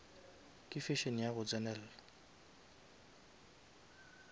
ke fashion ya go tsenelela